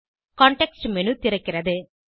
context menu திறக்கிறது